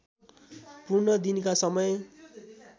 पूर्ण दिनका समय